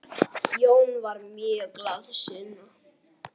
Jón var mjög glaðsinna.